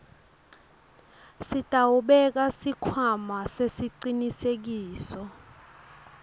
sitawubeka sikhwama sesicinisekiso